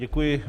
Děkuji.